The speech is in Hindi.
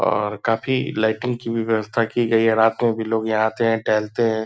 और काफी लाइटिंग की भी व्यवस्था की गयी है। रात में भी लोग यहाँ आते हैं टहलते हैं।